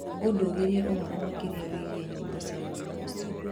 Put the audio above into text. ũndongorie ũhoro makĩria wĩgiĩ nyĩmbo cia mũini ũcio.